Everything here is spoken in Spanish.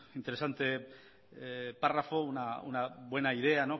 interesante párrafo una buena idea